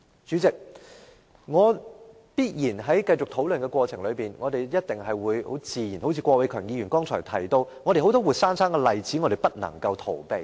主席，在繼續討論的過程中，正如剛才郭偉强議員提到，社會上必然有很多活生生的例子是我們無法逃避的。